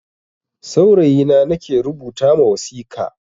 Saurayi na nake rubuta ma wasika.